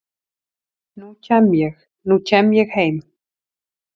nú kem ég, nú kem ég heim